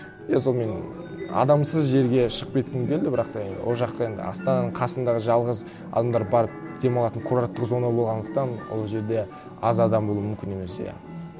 иә сол мен адамсыз жерге шығып кеткім келді бірақ та ол жаққа енді астананың қасындағы жалғыз адамдар барып демалатын курорттық зона болғандықтан ол жерде аз адам болуы мүмкін емес иә